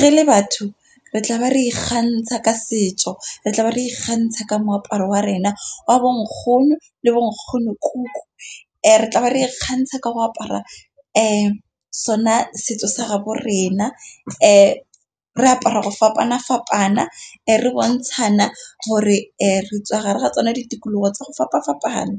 re le batho re tla ba re ikgantsha ka setso, re tla ba re ikgantsha ka moaparo wa rena wa bonkgono le bo nkgono kuku. Re tla ba re ikgantsha ka go apara sona setso sa gabo rena, re apara go fapana-fapana re bontshana gore re tswa gara ga tsona ditikologo tsa go fapana-fapana.